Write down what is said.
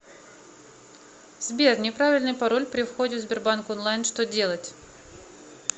сбер неправильный пароль при входе в сбербанк онлайн что делать